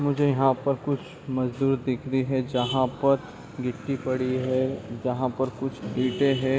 मुझे यहाँ पर कुछ मजदूर दिख रहे हैं जहाँ पर गिट्टी पड़ी है जहाँ पर कुछ इटे हैं ।